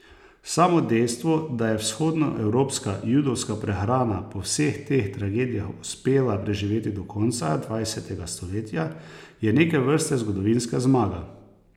Samo dejstvo, da je vzhodnoevropska judovska prehrana po vseh teh tragedijah uspela preživeti do konca dvajsetega stoletja, je neke vrste zgodovinska zmaga.